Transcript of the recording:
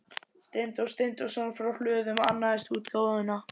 Steindór Steindórsson frá Hlöðum annaðist útgáfuna.